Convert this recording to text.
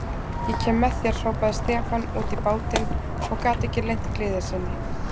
Ég kem með þér, hrópaði Stefán út í bátinn og gat ekki leynt gleði sinni.